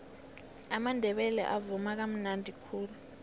amandebele avuma kamnadi khulu